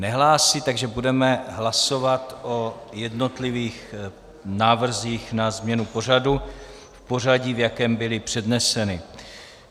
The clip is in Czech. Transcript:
Nehlásí, takže budeme hlasovat o jednotlivých návrzích na změnu pořadu v pořadí, v jakém byly předneseny.